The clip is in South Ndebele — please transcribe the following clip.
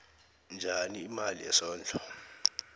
njani imali yesondlo